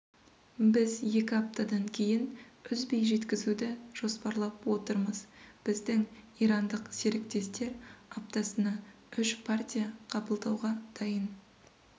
біз екі аптадан кейін үзбей жеткізуді жоспарлап отырмыз біздің ирандық серіктестер аптасына үш партия қабылдауға дайын